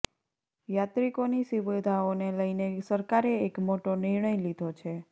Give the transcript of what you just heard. યાત્રિકોની સુવિધાઓને લઈને સરકારે એક મોટો નિર્ણય લીધો છે